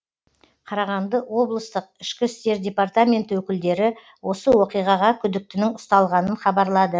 қарағанды облыстық ішкі істер департаментінің өкілдері осы оқиғаға күдіктінің ұсталғанын хабарлады